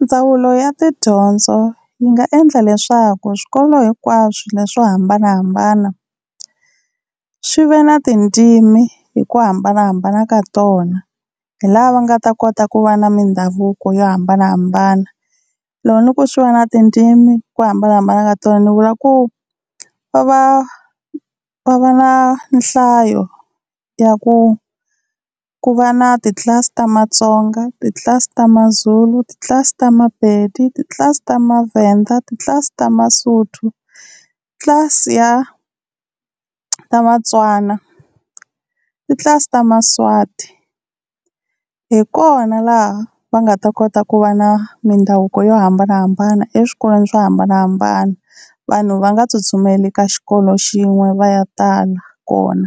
Ndzawulo ya tidyondzo yi nga endla leswaku swikolo hinkwaswo leswi swo hambanahambana swi ve na tindzimi hi ku hambanahambana ka tona, hi la va nga ta kota ku va na mindhavuko yo hambanahambana. Loko ni ku swi va na tindzimi ku hambanahambana ka tona ni vula ku, va va va va na nhlayo ya ku ku va na titlilasi ta Matsonga, titlilasi ta Mazulu, titlilasi ta Mapedi, titlilasi ta Mavhenda, titlilasi ta Masotho, titlilasi ya ta Matswana titlilasi ta Maswati hi kona laha va nga ta kota ku va na mindhavuko yo hambanahambana eswikolweni swo hambanahambana. Vanhu va nga tsutsumeli ka xikolo xin'we va ya tala kona